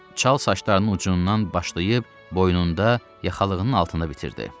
Çal saçlarının ucundan başlayıb boynunda yaxalığının altında bitirdi.